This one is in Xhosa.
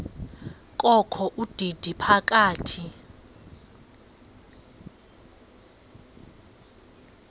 kokho udidi phaka